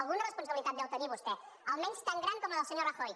alguna responsabilitat deu tenir vostè almenys tan gran com la del senyor rajoy